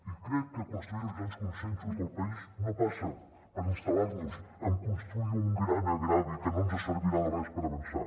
i crec que construir els grans consensos del país no passa per instal·lar nos en construir un gran greuge que no ens servirà de res per avançar